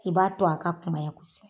I b'a to a ka kunbaya kosɛbɛ.